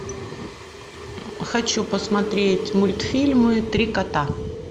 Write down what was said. хочу посмотреть мультфильмы три кота